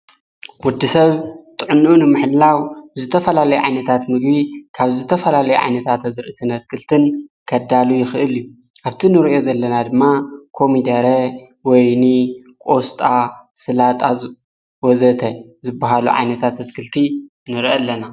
ወዲ ሰብ ጥዕኑኡ ንምሕላው ዝተፈላለይ ዓይነታት ምግቢ ካብ ዝተፈላለይ ዓይነታት ኣዘርእትን ኣትክልትን ከዳሉ ይኽእል እዩ ኣብቲ ንርእየ ዘለና ድማ ኮሚደረ ወይኒ ቆስጣ ሥላጣዝ ወዘተ ዝበሃሉ ዓይነታት እትክልቲ ንርኢ ኣለና።